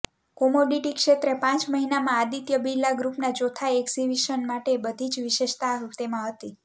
commodity ક્ષેત્રે પાંચ મહિનામાં આદિત્ય બિરલા ગ્રૂપના ચોથા એક્વિઝિશન માટે બધી જ વિશેષતા તેમાં હતી